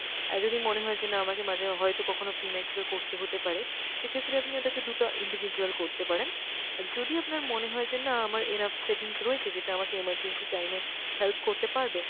আর যদি মনে হয় যে না আমাকে মাঝে হয়তো কখনও premature করতে হতে পারে সেক্ষেত্রে আপনি ওটাকে দু'টো individual করতে পারেন। আর যদি আপনার মনে হয় যে না আমার enough savings রয়েছে যেটা আমাকে emergency time এ help করতে পারবে